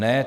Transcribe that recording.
Ne.